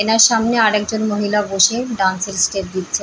এনার সামনে আর একজন মহিলা বসে ডান্স -এর স্টেপ দিচ্ছে ।